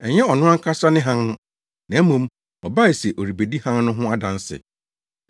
Ɛnyɛ ɔno ankasa ne hann no, na mmom, ɔbaa se ɔrebedi hann no ho adanse.